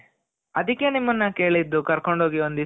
ಅದುಕ್ಕೆ ನಿಮ್ಮುನ್ನ ಕೇಳಿದ್ದು ಕರ್ಕೊಂಡು ಹೋಗಿ ಒಂದಿಸ ಅಂತ .